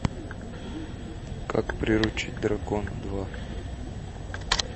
как приручить дракона два